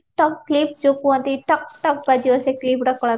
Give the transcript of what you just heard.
ଟକ clip ଯଉ କୁହନ୍ତି ଟକ ଟକ ବାଜିବ ସେ clip ଗୁଡା